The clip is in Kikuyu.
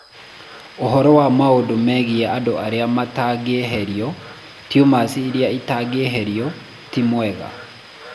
Ũhoro wa maũndũ megiĩ andũ arĩa matangĩeherio (tumors iria itangĩeherio) ti mwega.